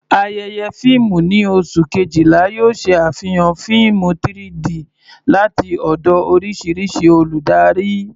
Ayẹyẹ fíìmù ní oṣù Kejìlá yóò ṣe àfihàn fíìmù 3-D láti ọ̀dọ̀ oríṣiríṣi olùdarí.